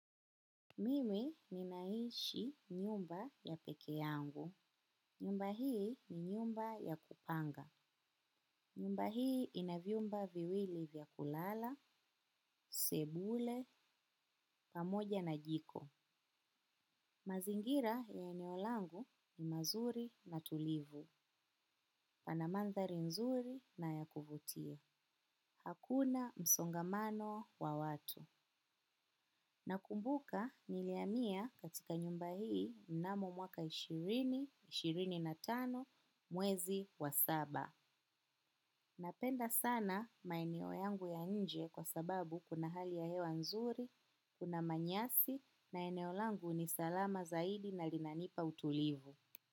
Mimi ninaishi nyumba ya peke yangu. Nyumba hii ni nyumba ya kupanga. Nyumba hii ina vyumba viwili vya kulala, sebule, pamoja na jiko. Mazingira ya eneo langu ni mazuri na tulivu. Pana mandhari nzuri na ya kuvutia. Hakuna msongamano wa watu. Nakumbuka niliamia katika nyumba hii mnamo mwaka elfu mbili na ishirini na tano mwezi wa saba. Napenda sana maeneo yangu ya nje kwa sababu kuna hali ya hewa nzuri, kuna manyasi na eneo langu ni salama zaidi na linanipa utulivu.